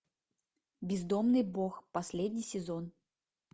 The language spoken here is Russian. бездомный бог последний сезон